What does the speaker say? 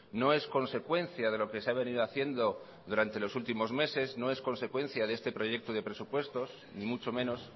no es consecuencia de lo que se ha venido haciendo durante los últimos meses no es consecuencia de este proyecto de presupuestos ni mucho menos